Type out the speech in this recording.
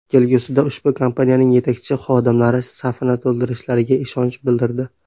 Kelgusida ushbu kompaniyaning yetakchi xodimlari safini to‘ldirishlariga ishonch bildirdi.